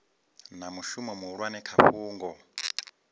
na mushumo muhulwane kha fhungo